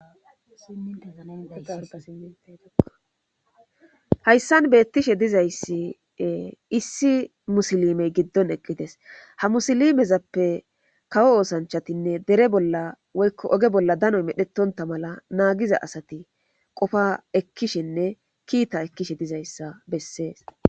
hayssan beettishe dizayssi issi musilimey giddon eqqides ha musilimezappe kawo oosanchatinne dere bolla oykko oge bolla danoy medhetonta mala naagiza asati qofa ekkishenne kiita ekkishe dizayssa bessees